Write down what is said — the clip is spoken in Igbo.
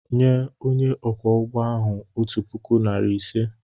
Nye onye ọkwọ ụgbọ ahụ otu puku, narị ise!